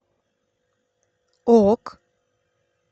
ок